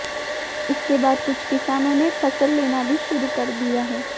इसके बाद कुछ किसानों ने फसल लेना भी शुरू कर दिया है